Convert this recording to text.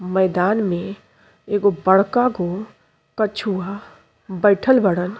मैदान में एगो बड़का गो कछुआ बईठल बाड़न।